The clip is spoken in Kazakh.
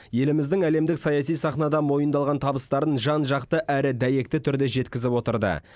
еліміздің әлемдік саяси сахнада мойындалған табыстарын жан жақты әрі дәйекті түрде жеткізіп отырды